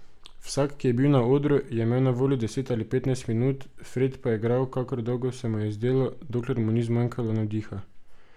Vsak, ki je bil na odru, je imel na voljo deset ali petnajst minut, Fred pa je igral, kakor dolgo se mu je zdelo, dokler mu ni zmanjkalo navdiha.